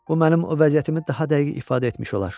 Bu mənim o vəziyyətimi daha dəqiq ifadə etmiş olar.